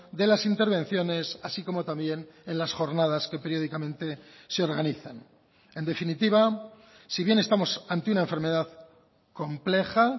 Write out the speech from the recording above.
de las intervenciones así como también en las jornadas que periódicamente se organizan en definitiva si bien estamos ante una enfermedad compleja